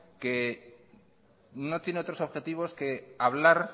que no tiene otros objetivos que hablar